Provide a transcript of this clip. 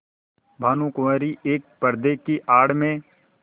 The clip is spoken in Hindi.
भानुकुँवरि एक पर्दे की आड़ में